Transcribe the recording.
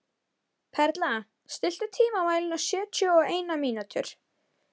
Perla, stilltu tímamælinn á sjötíu og eina mínútur.